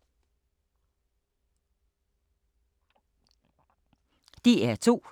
DR2